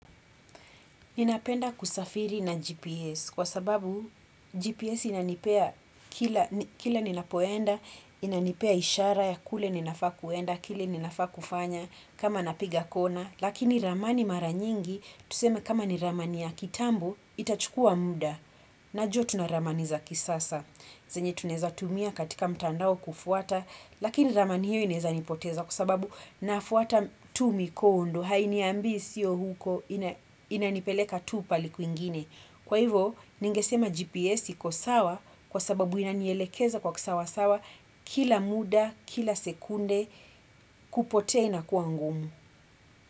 Ninapenda kusafiri na GPS kwa sababu GPS inanipea kila ninapoenda, inanipea ishara ya kule ninafaa kuenda, kile ninafaa kufanya, kama napiga kona, lakini ramani mara nyingi, tuseme kama ni ramani ya kitambo, itachukua muda. Najua tuna ramani za kisasa, zenye tunaeza tumia katika mtandao kufuata, lakini ramani hiyo inaeza nipoteza kwa sababu nafuata tu mikondo hainiambii sio huko inanipeleka tu pahali kwingine. Kwa hivo, ningesema GPS iko sawa kwa sababu inanielekeza kwa kisawa sawa kila muda, kila sekunde kupota inakua ngumu.